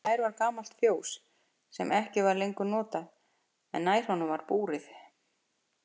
Fjær var gamalt fjós sem ekki var lengur notað en nær honum var búrið.